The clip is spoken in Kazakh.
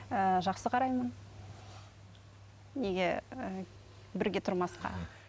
ііі жақсы қараймын неге ііі бірге тұрмасқа